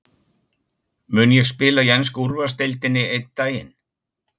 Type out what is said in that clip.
Mun ég spila í ensku úrvalsdeildinni einn daginn?